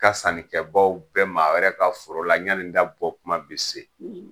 Ka sannikɛbaaw bɛɛ maa wɛrɛ ka foro la ɲani n da bɔ tuma be se.